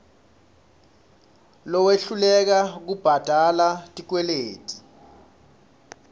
lowehluleka kubhadala tikweleti